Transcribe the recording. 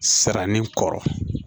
Sara ni kɔrɔ